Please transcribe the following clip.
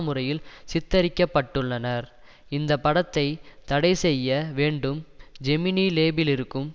முறையில் சித்தரிக்க பட்டுள்ளனர் இந்த படத்தை தடை செய்ய வேண்டும் ஜெமினி லேபிலிருக்கும்